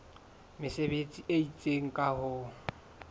mesebetsi e itseng ka ho